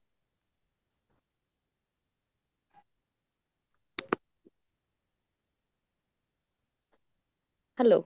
hello